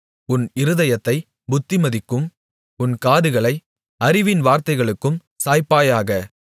உன் இருதயத்தைப் புத்திமதிக்கும் உன் காதுகளை அறிவின் வார்த்தைகளுக்கும் சாய்ப்பாயாக